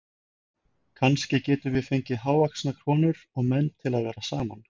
Kannski getum við fengið hávaxnar konur og menn til að vera saman